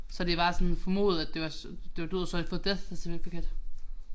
Så det bare sådan formodet at det var det var død så har de fået death certificate